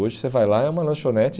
Hoje você vai lá e é uma lanchonete...